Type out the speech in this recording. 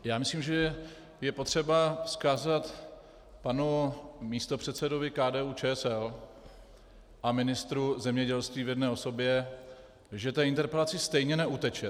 Já myslím, že je potřeba vzkázat panu místopředsedovi KDU-ČSL a ministru zemědělství v jedné osobě, že té interpelaci stejně neuteče.